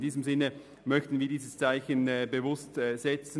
In diesem Sinn möchten wir dieses Zeichen bewusst setzen: